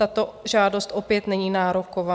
Tato žádost opět není nároková.